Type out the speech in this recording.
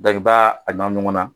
Dɔnk'i b'a ɲagamin ɲɔgɔn na.